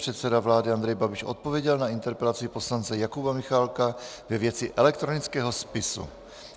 Předseda vlády Andrej Babiš odpověděl na interpelaci poslance Jakuba Michálka ve věci elektronického spisu.